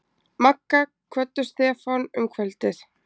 Magga kvöddu Stefán um kvöldið.